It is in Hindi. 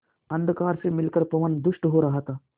अंधकार से मिलकर पवन दुष्ट हो रहा था